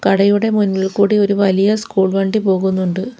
കടയുടെ മുന്നിൽ കൂടി ഒരു വലിയ സ്കൂൾ വണ്ടി പോകുന്നുണ്ട്.